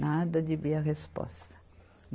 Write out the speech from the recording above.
Nada de vir a resposta.